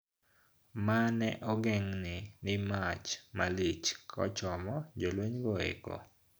Ma ne ogegni ni mach malich kochomo jolweny go eko